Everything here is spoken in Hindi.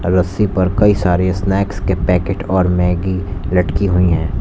रस्सी पर कई सारे स्नैक्स के पैकेट और मैगी लटकी हुई हैं।